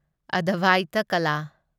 ꯑꯗꯚꯥꯢꯇ ꯀꯂꯥ